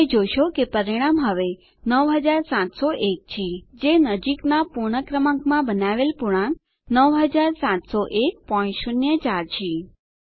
તમે જોશો કે પરિણામ હવે 9701 છે જે નજીકનાં પૂર્ણ ક્રમાંકમાં બનાવેલ પૂર્ણાંક 970104 છે